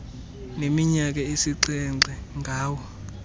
neminyaka esixhenxe ngawo